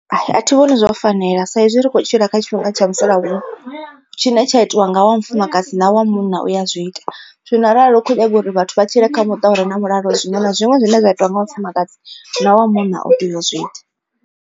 Athi vhoni zwo fanela sa izwi ri kho tshila kha tshifhinga tsha musalauno tshine tsha itiwa nga wa mufumakadzi na wa munna u ya zwi ita. Zwino arali u kho nyaga uri vhathu vha tshile kha muṱa ure na mulalo zwiṅwe na zwiṅwe zwine zwa itiwa nga wa mufumakadzi na wa munna u tea u zwi ita.